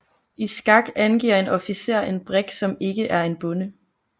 I skak angiver en officer en brik som ikke er en bonde